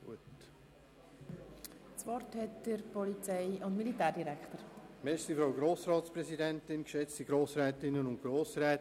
Da es keine weiteren Einzelsprechenden mehr gibt, erteile ich Regierungsrat Käser das Wort.